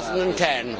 2010.